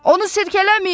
Onu silkələməyin.